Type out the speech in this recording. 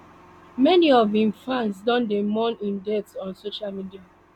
many of im fans don dey mourn im death on social media